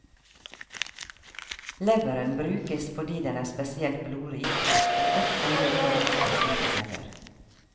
Leveren brukes fordi den er spesielt blodrik og godt egnet for å motta slike celler.